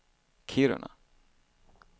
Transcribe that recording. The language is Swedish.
Kiruna